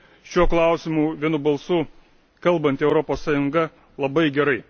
Šiuo klausimu vienu balsu kalbanti Europos Sąjunga labai gerai.